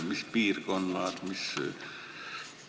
Mis piirkonnad?